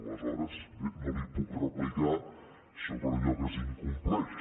aleshores bé no li puc replicar sobre allò que s’incompleix